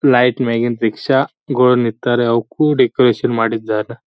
Light ಮ್ಯಾಗಿನ್ rickshaw ಗುಳು ನಿತ್ತಾರೆ ಅವುಕೂ ಡೆಕೋರೇಷನ್ ಮಾಡಿದ್ದಾರೆ.